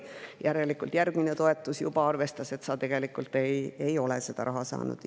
Järgmise toetuse puhul juba arvestati, et sa tegelikult ei ole seda raha saanud.